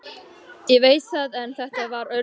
Ég veit það en þetta var öðruvísi.